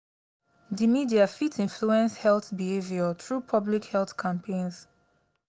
di media fit influence health behavior through public health campaigns.